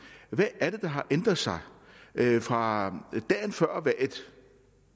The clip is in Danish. hvad er det der har ændret sig fra dagen før